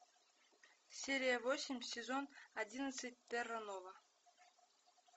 серия восемь сезон одиннадцать терра нова